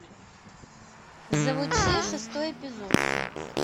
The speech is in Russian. завучи шестой эпизод